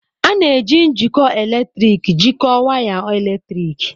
A na-eji njikọ eletrik jikọọ waya eletrik.